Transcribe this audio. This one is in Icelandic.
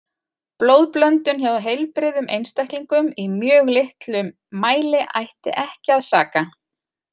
Blóðblöndun hjá heilbrigðum einstaklingum í mjög litlum mæli ætti ekki að saka.